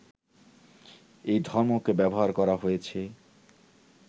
এই ধর্মকে ব্যবহার করা হয়েছে